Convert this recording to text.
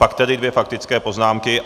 Pak tedy dvě faktické poznámky.